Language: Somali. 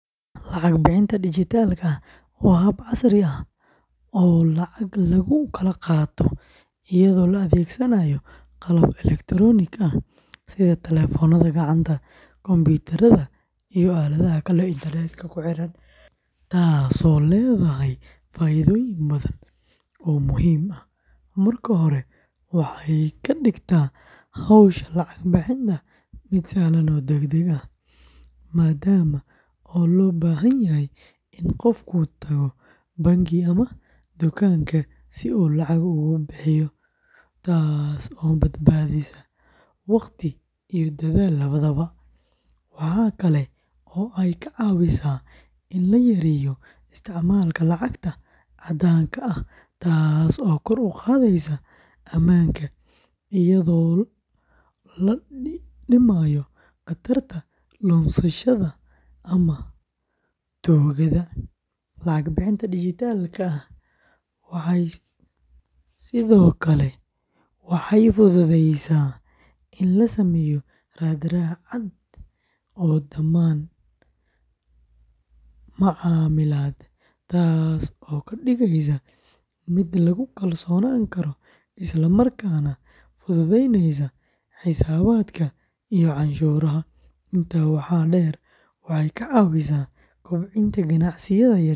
Lacag bixinta dijitaalka ah waa hab casri ah oo lacag lagu kala qaato iyadoo la adeegsanayo qalabka elektaroonigga ah sida telefoonada gacanta, kombiyuutarada, iyo aaladaha kale ee internet-ka ku xiran, taasoo leedahay faa'iidooyin badan oo muhiim ah. Marka hore, waxay ka dhigtaa hawsha lacag bixinta mid sahlan oo degdeg ah, maadaama aan loo baahnayn in qofku tago bangi ama dukaanka si uu lacag uga bixiyo, taasoo badbaadisa waqti iyo dadaal labadaba. Waxa kale oo ay ka caawisaa in la yareeyo isticmaalka lacagta caddaanka ah taasoo kor u qaadaysa ammaanka, iyadoo la dhimayo khatarta lunsashada ama tuugada. Lacag bixinta dijitaalka ah sidoo kale waxay fududaysaa in la sameeyo raad-raac cad oo dhammaan macaamilada, taasoo ka dhigaysa mid lagu kalsoonaan karo isla markaana fududeynaysa xisaabaadka iyo canshuuraha. Intaa waxaa dheer, waxay ka caawisaa kobcinta ganacsiyada yaryar.